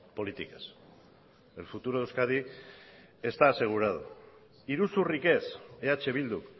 políticas el futuro de euskadi está asegurado iruzurrik ez eh bildu